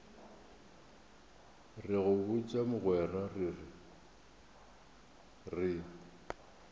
re go botša mogwera re